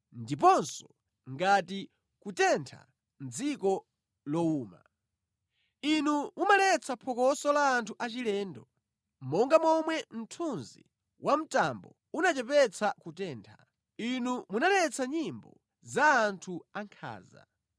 ndiponso ngati kutentha mʼdziko lowuma. Inu mumaletsa phokoso la anthu achilendo. Monga momwe mthunzi wa mtambo umachepetsa kutentha, inu munaletsa nyimbo za anthu ankhanza.